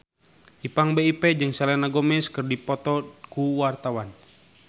Ipank BIP jeung Selena Gomez keur dipoto ku wartawan